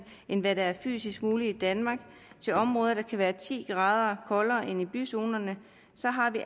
end hvad der er fysisk muligt i danmark til områder der kan være ti grader koldere end i byzonerne så har vi